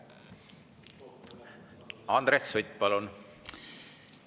Andres Sutt, palun!